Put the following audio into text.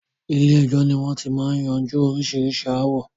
Ilé ẹjọ́ ni wọn ti máa ń yanjú oríṣiríṣi ááwọ̀